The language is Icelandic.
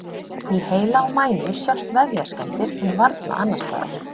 Í heila og mænu sjást vefjaskemmdir en varla annars staðar.